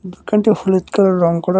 দুকানটি হলুদ কালারের রঙ করার--